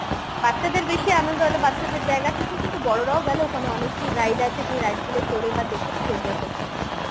বাচ্চাদের বেশি আনন্দ একটা বাচ্চাদের জায়গা ঠিকই কিন্তু বড়রাও গেলে ওখানে অনেকেই ride আছে যে ride গুলো চলে বা দেখে খুব enjoy করতে